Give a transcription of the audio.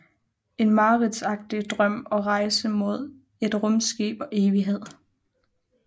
En mareridtsagtig drøm og rejse mod et rumskib og evigheden